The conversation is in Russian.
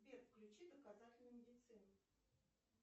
сбер включи доказательную медицину